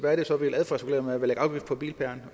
er det så vi vil adfærdsregulere ved en afgift på bilpæren